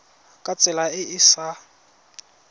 ka tsela e e sa